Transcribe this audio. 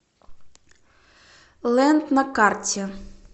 лэнд на карте